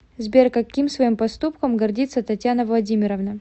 сбер каким своим поступком гордится татьяна владимировна